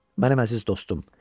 Mənim əziz dostum.